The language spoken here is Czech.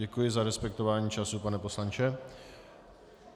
Děkuji za respektování času, pane poslanče.